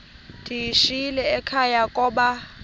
ndiyishiyile ekhaya koba